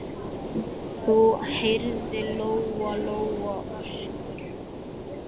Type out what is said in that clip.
Þá heyrði Lóa-Lóa öskrin.